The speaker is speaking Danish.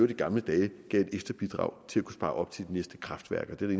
i gamle dage gav et ekstra bidrag til at kunne spare op til de næste kraftværker det er